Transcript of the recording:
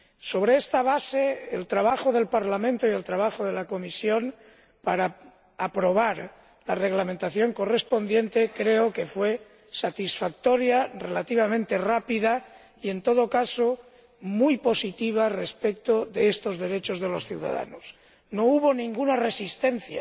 Sobre esta base, el trabajo del Parlamento y el trabajo de la Comisión para aprobar la reglamentación correspondiente creo que fueron satisfactorios, relativamente rápidos y, en todo caso, muy positivos respecto de estos derechos de los ciudadanos. No hubo ninguna resistencia